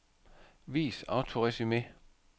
Vis autoresumé.